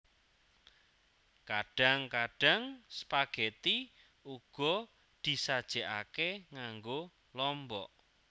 Kadhang kadhang spageti uga disajekake nganggo lombok